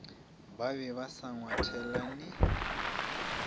ba be ba sa ngwathelane